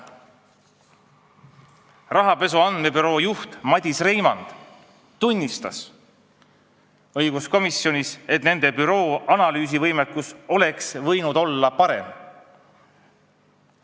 Rahapesu andmebüroo juht Madis Reimand on õiguskomisjonis tunnistanud, et nende büroo analüüsivõimekus oleks võinud olla parem.